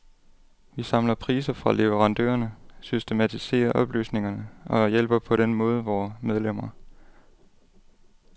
Vi samler priser fra leverandørerne, systematiserer oplysningerne og hjælper på den måde vore medlemmer.